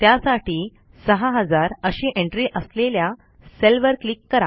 त्यासाठी 6000 अशी एंट्री असलेल्या सेलवर क्लिक करा